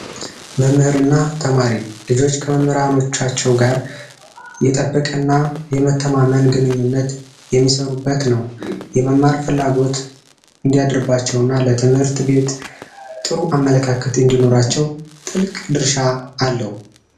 መምህርና ተማሪ ልጆቻቸው ጋር እየጠበቀና የመተማመን ግንኙነት የሚሰሩበት ነው የመማር ፍላጎት እንዲያደርባቸው እና ለትምህርት ቤት ጥሩ አመለካከት እንዲኖራቸው ጥልቅ ድርሻ አለው